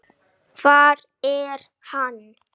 Hvar er hann?